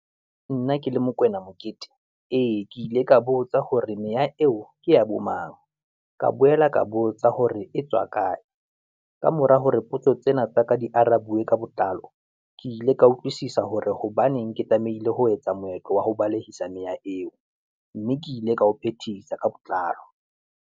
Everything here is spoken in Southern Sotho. Nna ke le Mokoena Mokete ee, ke ile ka botsa hore meya eo ke ya bo mang, ka boyela ka botsa hore e tswa kae. Kamora hore potso tse na tsaka ding di arabiwe ka botlalo, ke ile ka utlwisisa hore hobaneng ke tlamehile ho etsa moetlo wa ho balehisa meya eo, mme ke ile ka ho phethisa ka botlalo.